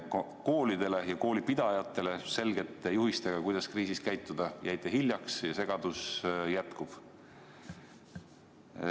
Koolidele ja koolipidajatele selgete juhistega, kuidas kriisis käituda, jäite hiljaks ja segadus jätkub.